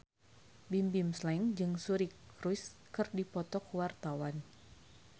Bimbim Slank jeung Suri Cruise keur dipoto ku wartawan